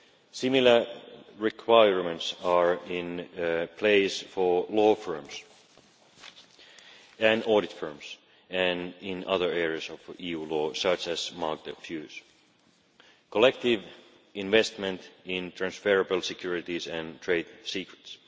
Similar requirements are in place for law firms and audit firms and in other areas of EU law such as market abuse, collective investment in transferable securities and trade secrets.